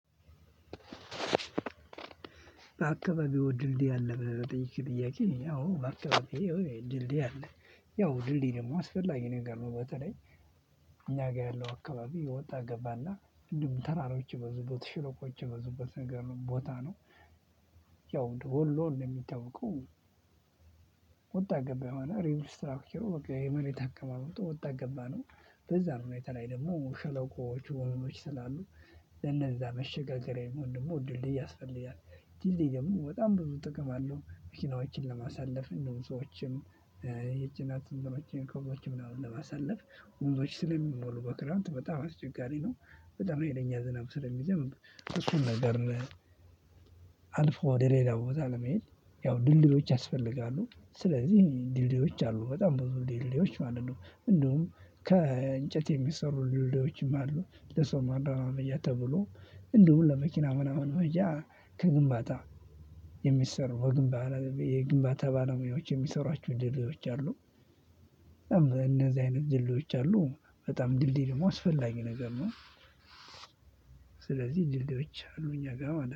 በአካባቢው ድልድይ አለ ብለህ ለጠየቅክኝ ጥያቄ አዎ በአካባቢው ድልድይ አለ። ያው ድልድይ ደግሞ አስፈላጊ ነገር ነው። በተለይ እኛ ጋር ያለው አካባቢ ወጣ ገባና እንደሁም ተራሮች የበዙበት ሽለቆች የበዙበት ነገር ነው ቦታ ነው። ያው ወሎ እንደሚታወቀው ወጣ ገባ የሆነ ሪንግ ስትራክቸሩ የመሬት አቀማመጡ ወጣ ገባ ነው። በዛ ሁኔታ ላይ ደግሞ ሸለቆዎቹ ወንዞች ስላሉ ለነዛ መሸጋገሪያ የሚሆን ደግሞ ድልድይ ያስፈልጋል። ድልድይ ደግሞ በጣም ብዙ ጥቅም አለው። መኪናዎችን ለማሳለፍ እንዲሁም ሰዎችም የጭነት እንትኖችን ከቦችም ለማሳለፍ ወንዞች ስለሚሞሉ በክረምት በጣም አስቸጋሪ ነው። በጣም ሀይለኛ ዝናብ ስለሚዘንብ እሱን ነገር። አልፎ ወደ ሌላ ቦታ ለመሄድ ያው ድልድዮች ያስፈልጋሉ። ስለዚህ ድልድዮች አሉ በጣም ብዙ ድልድዮች ማለት ነው። እንደውም ከእንጨት የሚሰሩ ድልድዮችም አሉ ለሰው መረማመጃ ተብሎ እንደሁም ለመኪና ምናምን መሄጃ ከግንባታ የሚሰሩ የግንባታ የግንባታ ባለሙያዎች የሚሰሩአችሁ ድልድዮች አሉ። እነዚህ አይነት ድልድዮች አሉ በጣም ድልድይ ደግሞ አስፈላጊ ነገር ነው። ስለዚህ ድልድዮች አሉ እኛ ጋር ማለት ነው